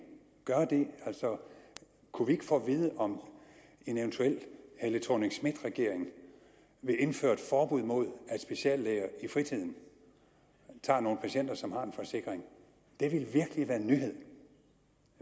gøre det kunne vi ikke få at vide om en eventuel helle thorning schmidt regering vil indføre et forbud mod at speciallæger i fritiden tager nogle patienter som har en forsikring det ville virkelig være en nyhed